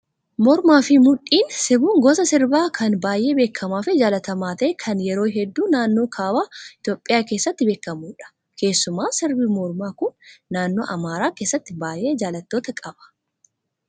Mormaa fi mudhiin sirbuun gosa sirbaa kan baay'ee beekamaa fi jaallatamaa ta'ee kan yeroo hedduu naannoo kaaba Itoophiyaa keessatti beekamudha. Keessumaa sirbi mormaa kun naannoo amaaraa keessatti baay'ee jaallattoota qaba.